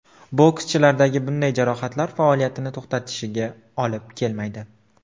Bokschilardagi bunday jarohatlar faoliyatini to‘xtatishiga olib kelmaydi.